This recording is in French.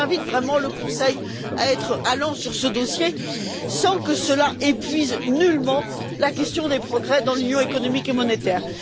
J'invite donc vraiment le Conseil à être allant sur ce dossier, sans que cela n'épuise nullement la question des progrès dans l'Union économique et monétaire.